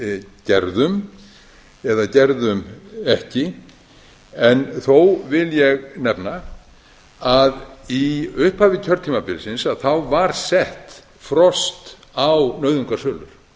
við gerðum eða gerðum ekki en þó vil ég nefna að í upphafi kjörtímabilsins var sett frost á nauðungarsölur